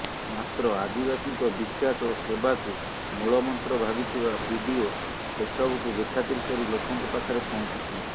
ମାତ୍ର ଆଦିବାସୀଙ୍କ ବିକାଶ ଓ ସେବାକୁ ମୂଳମନ୍ତ୍ର ଭାବିଥିବା ବିଡିଓ ସେସବୁକୁ ବେଖାତିର କରି ଲୋକଙ୍କ ପାଖରେ ପହଞ୍ଚିଥିଲେ